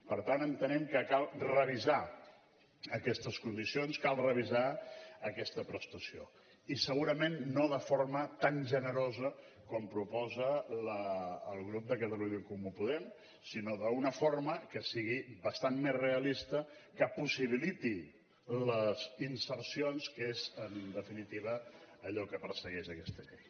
per tant entenem que cal revisar aquestes condicions cal revisar aquesta prestació i segurament no de forma tan generosa com proposa el grup de catalunya en comú podem sinó d’una forma que sigui bastant més realista que possibiliti les insercions que és en definitiva allò que persegueix aquesta llei